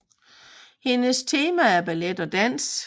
Hendes tema er ballet og dans